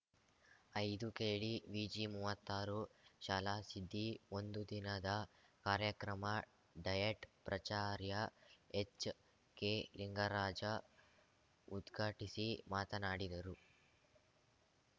ಐದುಕೆಡಿವಿಜಿಮೂವತ್ತಾರು ಶಾಲಾಸಿದ್ದಿ ಒಂದು ದಿನದ ಕಾರ್ಯಕ್ರಮ ಡಯಟ್‌ ಪ್ರಚಾರ್ಯ ಎಚ್‌ಕೆಲಿಂಗರಾಜ ಉದ್ಘಾಟಿಸಿ ಮಾತನಾಡಿದರು